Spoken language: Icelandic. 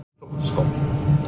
Í hvernig fótboltaskóm?